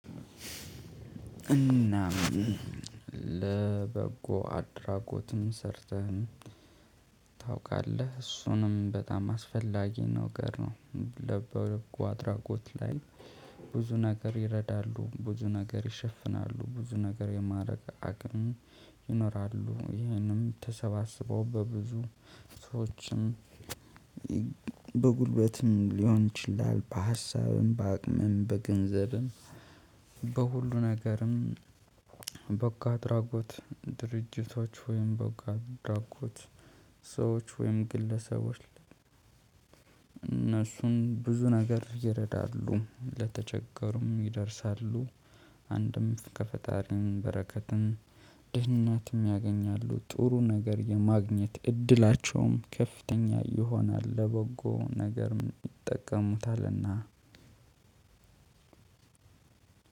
እናም ለበጎ አድራጎትም ሰርተህም ታውቃለህ እሱንም በጣም አስፈላጊ ነገር ነው። ለበጎ አድራጎት ላይ ብዙ ነገር ይረዳሉ ብዙ ነገር ይሸፍናሉ ብዙ ነገር የማረግ አቅም ይኖራሉ ይሄንም ተሰባስበው በብዙ ሰዎችም። በጉልበትም ሊሆን ይችላል በሀሳብም በአቅምም በገንዘብም በሁሉ ነገርም። በጎ አድራጎት ድርጅቶች ወይም በጎ አድራጎት ሰዎች ወይም ግለሰቦች። እነሱን ብዙ ነገር ይረዳሉ ለተቸገሩም ይደርሳሉ። አንድም ከፈጣሪም በረከትም ድህነትም ያገኛሉ ጥሩ ነገር የማግኘት እድላቸውም ከፍተኛ ይሆናል። ለበጎ ነገርም ይጠቀሙታልና